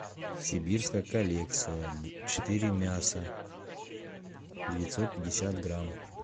сибирская коллекция четыре мяса девятьсот пятьдесят грамм